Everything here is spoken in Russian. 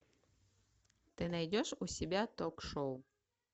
ты найдешь у себя ток шоу